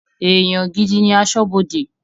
Èèyàn gidi ní aṣọ́bọdè